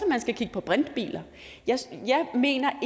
man skal kigge på brintbiler jeg mener